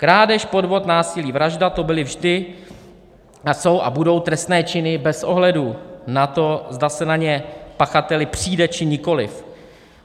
Krádež, podvod, násilí, vražda, to byly vždy a jsou a budou trestné činy bez ohledu na to, zda se na ně pachateli přijde, či nikoli.